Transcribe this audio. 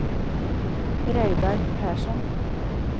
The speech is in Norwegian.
Reidar Persson